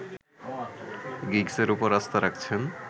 গিগসের উপর আস্থা রাখছেন